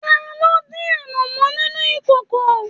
Taló dín anamọ nínú ìkòkò?